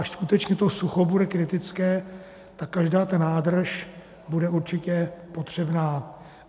Až skutečně to sucho bude kritické, tak každá ta nádrž bude určitě potřebná.